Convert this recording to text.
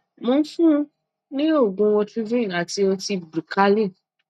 mò ń fún un ní òògùn otrivin àti ọtí bricanyl